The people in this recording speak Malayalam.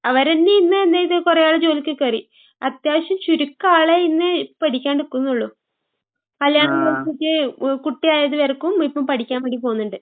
അവരന്നെ ഇന്ന് എന്തെയ്ത് കൊറേയാള് ജോലിക്ക് കേറി. അത്യാവശ്യം ചുരുക്കാളെ ഇന്ന് പഠിക്കാണ്ടിക്കുന്നുള്ളൂ. കല്യാണം കഴിച്ചിട്ട് ഏ കുട്ടിയായത് വരെക്കും ഇപ്പം പഠിക്കാൻ വേണ്ടി പോന്ന്ണ്ട്.